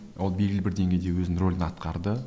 ол белгілі бір деңгейде өзінің рөлін атқарды